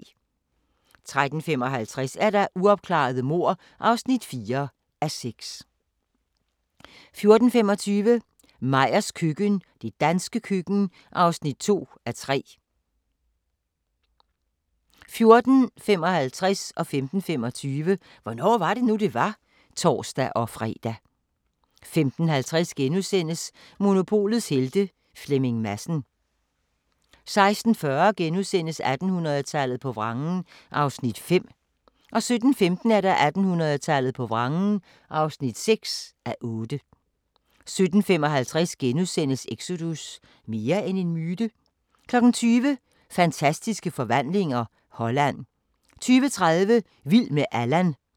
13:55: Uopklarede mord (4:6) 14:25: Meyers køkken – det danske køkken (2:3) 14:55: Hvornår var det nu, det var? *(tor-fre) 15:25: Hvornår var det nu, det var? (tor-fre) 15:50: Monopolets Helte – Flemming Madsen * 16:40: 1800-tallet på vrangen (5:8)* 17:15: 1800-tallet på vrangen (6:8) 17:55: Exodus – mere end en myte? * 20:00: Fantastiske forvandlinger – Holland 20:30: Vild med Allan